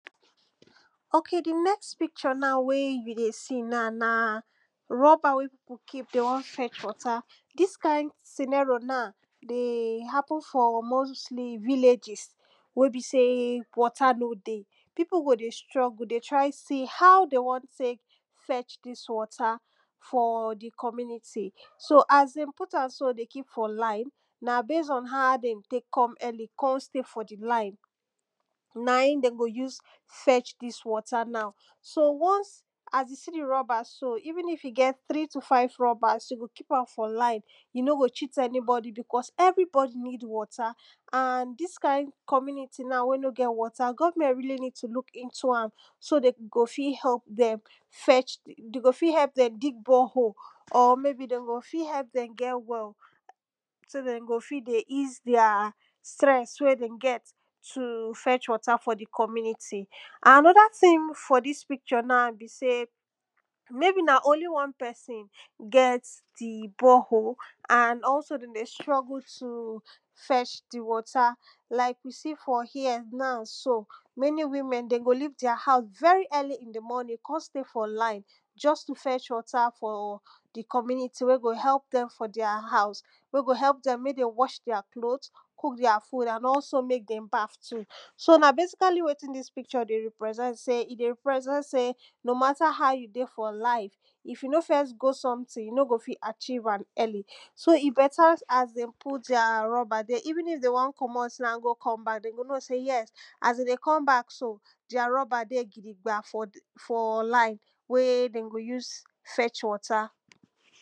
Okay di next picture na wey you see na, na rubber wey people keep, dem wan fetch water, dis kind scenario na dey happen mostly for villages wey be sey water no dey, people go dey struggle dey try see how dem wan take fetch dis water for di community. So as dem put am so dey keep for line, na based on how dem take come early come stay for di line, na im dem go use come fetch dis water now, so once as you see di rubber so, even if you get three to five rubbers, you go keep am for line you nor got cheat anybody because everybody need water and dis kind community na wey no get water government really need to look into am so dem go fit help dem fetch. Dem go fit help dem dig borehole or may be dem go fit help dem get well so dem go fit dey ease their stress wey dem get to fetch water for di community. And another thing for dis picture now be sey, maybe na only one person get borehole and also dem struggle to fetch di water. Like you see for here now so many women dem go live their house very early in di morning come stay for line, just to fetch water for di community wey go help dem for their house, wey go help dem make dem wash their clothe, cook their food and also make dem baf too. So na basically wetin dis picture dey represent sey, I dey represent sey no matter how you dey for life, if you no first go something, you no go fit achieve am early. So e better, as dem put their rubber there, even if dem wan komot now go come back dem go know sey yes, as dem dey come back so their rubber dey gidigba, for di for line, wen dem go use fetch water.